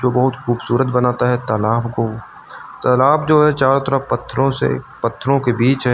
बहुत खूबसूरत बनाता है तालाब को तालाब जो है चारों तरफ पत्थरों से पत्थरों के बीच है।